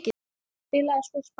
Spilaði svo spaða.